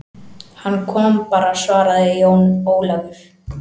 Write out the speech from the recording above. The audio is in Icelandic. Hann kom bara, svaraði Jón Ólafur.